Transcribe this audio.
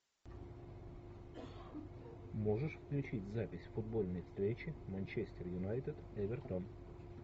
можешь включить запись футбольной встречи манчестер юнайтед эвертон